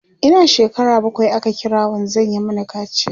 Ina shekara bakwai aka kira wanzan ya Mani kaciya